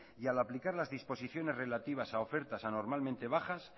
y al aplicar las disposiciones relativas a ofertas anormalmente bajas